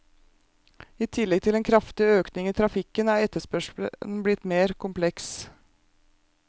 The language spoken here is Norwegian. I tillegg til en kraftig økning i trafikken, er etterspørselen blitt mer kompleks.